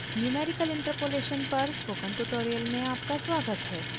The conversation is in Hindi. numerical interpolation पर स्पोकन ट्यूटोरियल में आपका स्वागत है